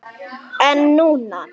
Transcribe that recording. En núna.